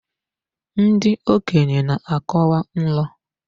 Ndị okenye na-akọwa ilu.